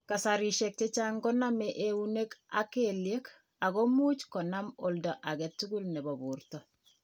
Kasarishek chechang' ko name eunek ak kelyek ,ako much konam olda age tugul nebo borto.